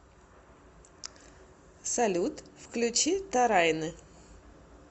салют включи та райне